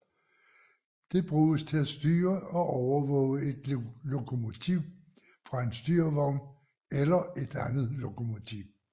Det bruges til at styre og overvåge et lokomotiv fra en styrevogn eller et andet lokomotiv